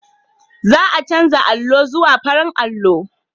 Za a canza allo zuwa farar allo.